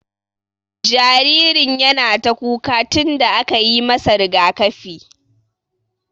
Jaririn yana ta kuka tun da aka yi masa rigaƙafi.